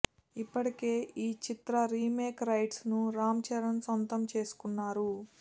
ఇప్పటికే ఈ చిత్ర రీమేక్ రైట్స్ ను రామ్ చరణ్ సొంతం చేసుకున్నారు